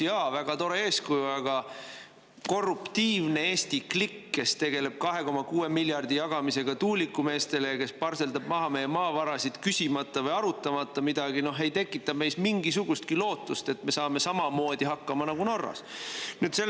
Jaa, väga tore eeskuju, aga korruptiivne Eesti klikk, kes tegeleb 2,6 miljardi jagamisega tuulikumeestele ja kes parseldab maha meie maavarasid, küsimata või arutamata midagi, ei tekita meis mingisugustki lootust, et me saame samamoodi hakkama, nagu saadakse Norras.